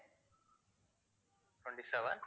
twenty seven